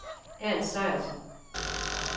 Ernst Sejersen